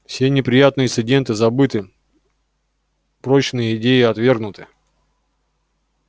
все неприятные инциденты забыты прочные идеи отвергнуты